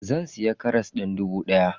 Zan siya karas din dubu daya.